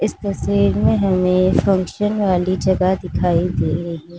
इस तस्वीर में हमें फंक्शन वाली जगह दिखाई दे रही --